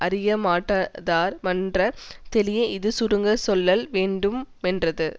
அறியமாட்டாதார் மன்ற தெளிய இது சுருங்கச் சொல்லல் வேண்டு மென்றது